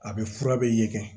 A bɛ fura bɛ ye